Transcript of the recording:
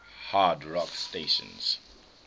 hard rock stations